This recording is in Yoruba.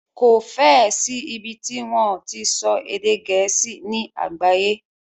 Kò fẹ́ ẹ sí ìbi tí wọ́n o ti so èdè gẹ̀ẹ́sì ní àgbáyé.